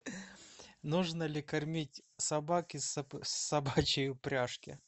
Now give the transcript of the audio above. нужно ли кормить собак из собачей упряжки